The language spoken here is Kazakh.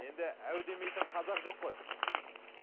енді әу демейтін қазақ жоқ қой